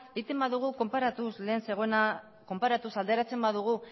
alderatzen badugu